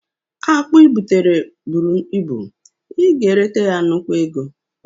Akpụ i butara bụrụ ịbụ, ị ga eleta ya nnukwu ego